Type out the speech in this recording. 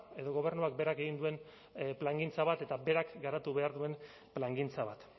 edo gobernuak berak egin duen plangintza bat eta berak garatu behar duen plangintza bat